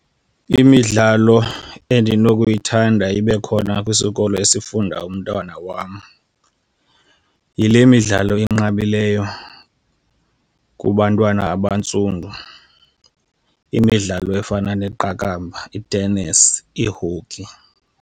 Imidlalo endinokuyithanda ibe khona kwisikolo esifunda umntwana wam yile midlalo inqabileyo kubantwana abantsundu. Imidlalo efana neqakamba, i-tennis, ii-hockey.